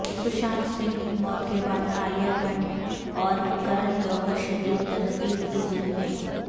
سشانت سنگھ کی موت کے بعد عالیہ بھٹ اورکرن جوہرشدید تنقید کی زد میں